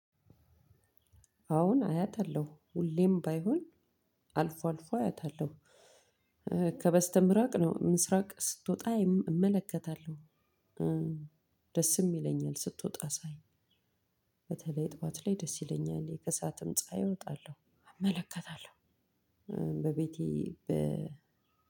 አዎን አያታለሁ ሁሌም ባይሆን አልፎ አልፎ አያታለሁ ከበስተምራቅ ነው ምስራቅ ስትወጣ እመለከታለሁ። ደስም ይለኛል ስትወጣ ሳይ በተለይ ጠዋት ላይ ደስ ይለኛል የከሳትም ፀሀይ እወጣለሁ አመለከታለሁ። በቤቴ በ